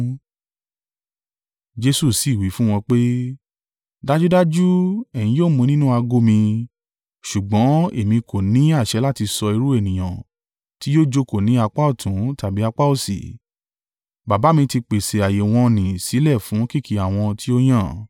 Jesu sì wí fún wọn pé, “Dájúdájú, ẹ̀yin yóò mu nínú ago mi, ṣùgbọ́n èmi kò ní àṣẹ láti sọ irú ènìyàn tí yóò jókòó ní apá ọ̀tún tàbí apá òsì. Baba mi ti pèsè ààyè wọ̀n-ọn-nì sílẹ̀ fún kìkì àwọn tí ó yàn.”